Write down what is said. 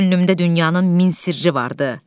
Könlümdə dünyanın min sirri vardı.